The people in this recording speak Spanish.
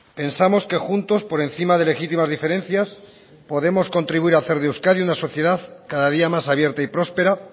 pensamos que juntos por encima de legítimas diferencias podemos contribuir a hacer de euskadi una sociedad cada día más abierta y prospera